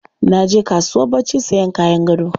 Na je kasuwar barci sayan kayan gado.